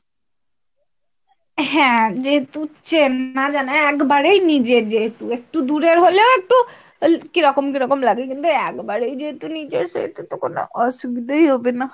হ্যাঁ যেহেতু চেনা জানা হ্যাঁ একেবারেই নিজেদের যেহেতু একটু দূরের হলেও একটু কিরকম কিরকম লাগে একেবারেই যে হেতু নিজের সে হেতু তো কোনো অসুবিধাই হবে না।